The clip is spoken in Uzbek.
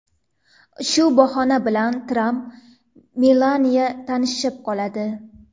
Shu bahona bo‘lib Tramp va Melaniya tanishib qoladi.